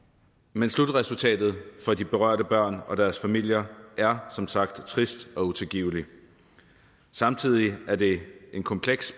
men slutresultatet for de berørte børn og deres familier er som sagt trist og utilgiveligt samtidig var det en kompleks